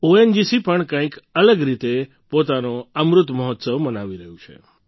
ONGC પણ કંઈક અલગ રીતે પોતાનો અમૃત મહોત્સવ મનાવી રહ્યું છે